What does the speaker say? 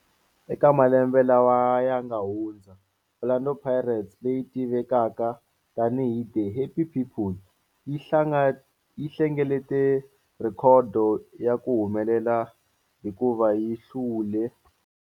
Eka malembe lawa yanga hundza, Orlando Pirates, leyi tivekaka tani hi 'The Happy People', yi hlengeletile rhekhodo ya ku humelela hikuva yi hlule.